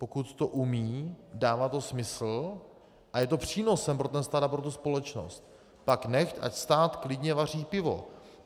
Pokud to umí, dává to smysl a je to přínosem pro ten stát a pro tu společnost, pak nechť, ať stát klidně vaří pivo.